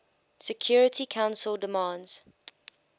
security council demands